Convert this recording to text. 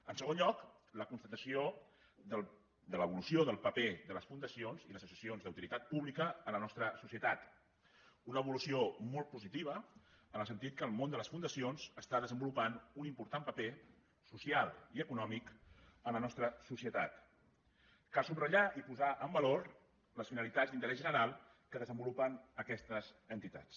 en segon lloc la constatació de l’evolució del paper de les fundacions i les associacions d’utilitat pública a la nostra societat una evolució molt positiva en el sentit que el món de les fundacions està desenvolupant un important paper social i econòmic en la nostra societat cal subratllar i posar en valor les finalitats d’interès general que desenvolupen aquestes entitats